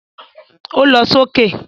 Ó lọ sókè